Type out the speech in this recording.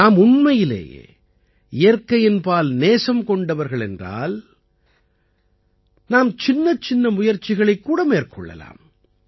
நாம் உண்மையிலேயே இயற்கையின் பால் நேசம் கொண்டவர்கள் என்றால் நாம் சின்னச்சின்ன முயற்சிகளைக் கூட மேற்கொள்ளலாம்